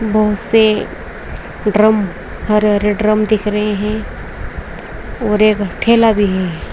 बोहोत से ड्रम हरे-हरे ड्रम दिख रहे हैं और एक ठेला भी है।